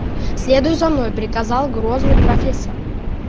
следуй за мной приказал грозный профессор